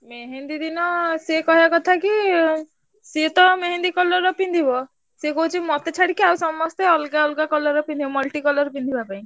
ମେହେନ୍ଦୀ ଦିନ ସିଏ କହିଆ କଥା କି ସିଏ ତ ମେହେନ୍ଦୀ colour ର ପିନ୍ଧିବ। ସିଏ କହୁଛି ମତେ ଛାଡିକି ଆଉ ସମସ୍ତେ ଅଲଗା ଅଲଗା colour ର ପିନ୍ଧିଆ multi colour ପିନ୍ଧିଆ ପାଇଁ।